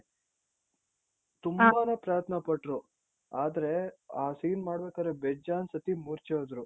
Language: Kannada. ತುಂಬಾ ಪ್ರಯತ್ನ ಪಟ್ರು ಆದ್ರೆ scene ಮಾಡ್ಬೇಕಾರೆ ಬೇಜಾನ್ ಸತಿ ಮೂರ್ಛೆ ಹೋದ್ರು.